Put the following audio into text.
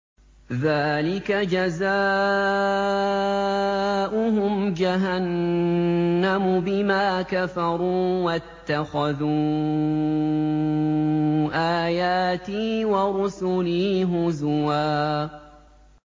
ذَٰلِكَ جَزَاؤُهُمْ جَهَنَّمُ بِمَا كَفَرُوا وَاتَّخَذُوا آيَاتِي وَرُسُلِي هُزُوًا